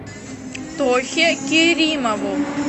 тохе керимову